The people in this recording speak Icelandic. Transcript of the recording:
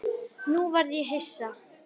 Nú varð ég hissa.